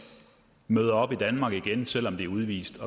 møder op i danmark igen selv om de er udvist